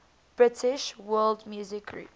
british world music groups